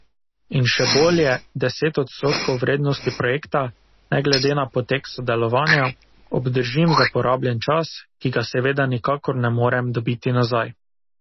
In še bolje, deset odstotkov vrednosti projekta, ne glede na potek sodelovanja, obdržim za porabljen čas, ki ga seveda nikakor ne morem dobiti nazaj.